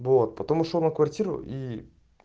вот потом ушёл на квартиру и